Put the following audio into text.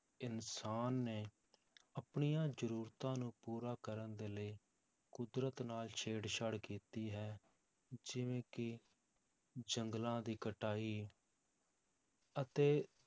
ਇਨਸਾਨ ਨੇ ਆਪਣੀਆਂ ਜ਼ਰੂਰਤਾਂ ਨੂੰ ਪੂਰਾ ਕਰਨ ਦੇ ਲਈ ਕੁਦਰਤ ਨਾਲ ਛੇੜਛਾੜ ਕੀਤੀ ਹੈ, ਜਿਵੇਂ ਕਿ ਜੰਗਲਾਂ ਦੀ ਕਟਾਈ ਅਤੇ